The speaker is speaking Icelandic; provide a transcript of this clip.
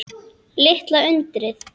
Litla undrið.